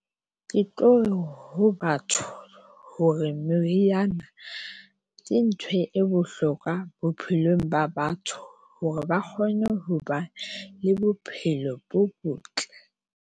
Ke tlo ho batho hore moriana ke ntho e bohlokwa bophelong ba batho hore ba kgone ho ba le bophelo bo botle.